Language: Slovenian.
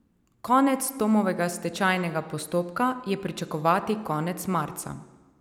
Konec Tomovega stečajnega postopka je pričakovati konec marca.